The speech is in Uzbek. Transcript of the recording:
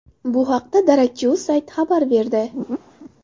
Bu haqda darakchi.uz sayti xabar berdi.